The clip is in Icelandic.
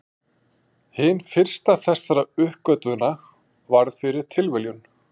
Hin fyrsta þessara uppgötvana varð fyrir tilviljun.